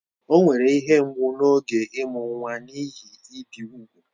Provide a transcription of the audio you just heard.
O nwere ihe mgbu n'oge ịmụ nwa n'ihi ibi úgwù